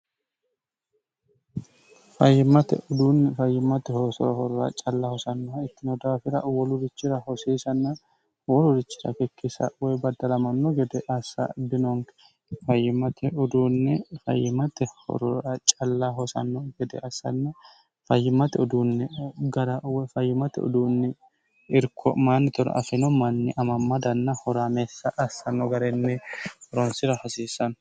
fayyimmate uduunni fayyimmate hoosoro horora calla hosannoh ittino daafira uwolurichira hosiisanna uwolurichira kikkisa woy baddalamanno gede assa binonki fayimate uduunni fayimate hororra calla hosanno gede assanni fayyimate uduunni gara uwfayyimate uduunni irko'maanni tono afino manni amammadanna horaameessa assanno garenni ronsira hasiisanno